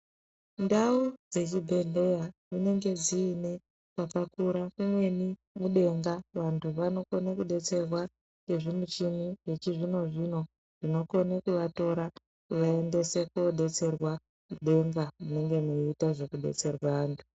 Ndau dzechbhedlera dzinenge dziine mwakakura kumweni mudenga vantu vanokone kudetserwa ngezvimichini yechizvino-zvino inokona kuatora kuvaendese mudenga munenge muchiita zvekudetserwa antu.